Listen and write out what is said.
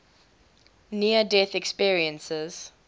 near death experiences